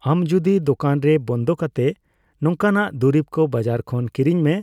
ᱟᱢ ᱡᱚᱫᱤ ᱫᱳᱠᱟᱱ ᱨᱮ ᱵᱚᱱᱫᱚ ᱠᱟᱛᱮᱜ ᱱᱚᱝᱠᱟᱱᱟᱜ ᱫᱩᱨᱤᱵ ᱫᱚ ᱵᱟᱡᱟᱟᱨ ᱠᱷᱚᱱ ᱠᱤᱨᱤᱧ ᱢᱮ,